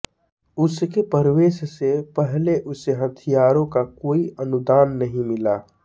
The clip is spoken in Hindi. उसके प्रवेश से पहले उसे हथियारों का कोई अनुदान नहीं मिला